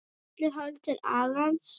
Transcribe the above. Allir horfa til Arons.